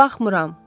Baxmıram.